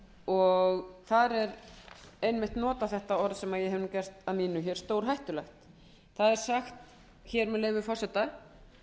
og þar er einmitt notað þetta orð sem ég hef gert að mínu hér stórhættulegt þar segir með leyfi forseta